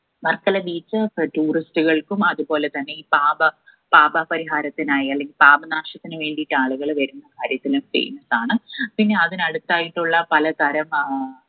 Varkala beach ഉകൾക്കും അതുപോലെതന്നെ ഈ പാപ പാപപരിഹാരത്തിനായ് അല്ലെങ്കിൽ പാപനാശത്തിന്‌ വേണ്ടിയിട്ട് ആളുകള് വെരും ചെയ്യുന്നതും കാണാം. പിന്നെ അതിന് അടുത്തയിട്ടുള്ള പലതരം ഏർ